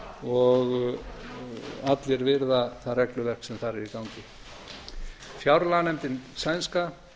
og allir virða það regluverk sem þar er í gangi fjárlaganefndin sænska